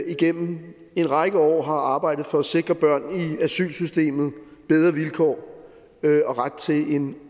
igennem en række år har arbejdet for at sikre børn i asylsystemet bedre vilkår og ret til en